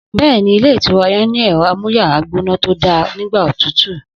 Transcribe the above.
Bẹ́ẹ̀ni, ilé ìtura yẹn ni ẹrọ àmúyàrá gbóná tó dá nígbà òtútù